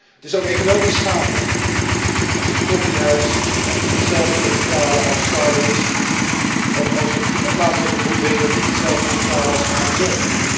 Het is ook economisch schadelijk als het koffiehuis niet hetzelfde moet betalen als Starbucks of als een plaatselijke boekenwinkel niet hetzelfde moet betalen als Amazon.